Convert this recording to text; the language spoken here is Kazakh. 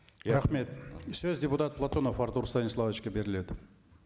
рахмет сөз депутат платонов артур станиславовичке беріледі